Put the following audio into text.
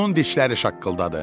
Onun dişləri şaqqıldadı.